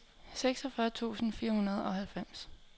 seksogfyrre tusind fire hundrede og halvfems